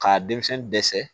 K'a denmisɛnnin dɛsɛ